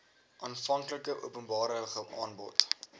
aanvanklike openbare aanbod